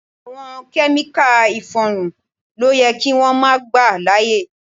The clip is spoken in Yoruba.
Àwọn Kẹ́míkà ìfọrun ló yẹ kí wón máa gbà láyè.